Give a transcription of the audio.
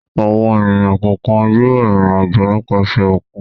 Àwọn ènìyàn kọ̀ọ̀kan yóò rìnrìn-àjò nípasẹ̀ òkun.